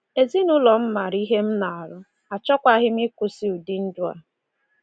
Ezinụlọ m maara ihe m na-arụ, achọkwaghị m ịkwụsị ụdị ndụ a.